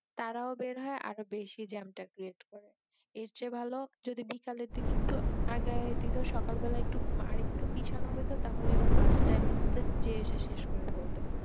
তারাও বের হয় আরো বেশি জ্যাম টা ক্রিয়েট করে, এর চেয়ে ভালো যদি বিকেলের দিকে একটু আগায়া দিতো মানে আর সকালের দিক একটু পিছানো হয়তো তাহলে মাঝ টাইম এর মধ্যে যেয়ে এসে শেষ করে ফেলতো